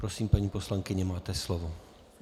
Prosím, paní poslankyně, máte slovo.